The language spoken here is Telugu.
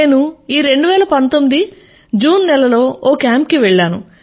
నేను ఈ 2019 జూన్ నెలలో ఒక కేంప్ కి వెళ్ళాను